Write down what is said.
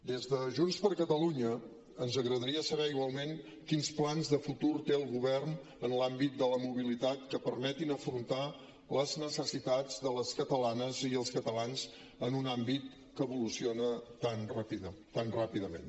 des de junts per catalunya ens agradaria saber igualment quins plans de futur té el govern en l’àmbit de la mobilitat que permetin afrontar les necessitats de les catalanes i els catalans en un àmbit que evoluciona tan ràpidament